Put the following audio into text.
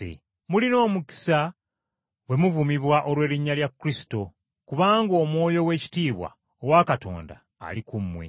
Mulina omukisa bwe muvumibwa olw’erinnya lya Kristo kubanga Omwoyo ow’ekitiibwa owa Katonda ali ku mmwe.